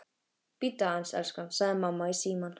Bíddu aðeins, elskan, sagði mamma í símann.